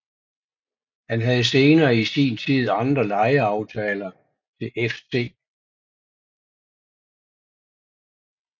Han havde senere i sin tid andre lejeaftaler til FC St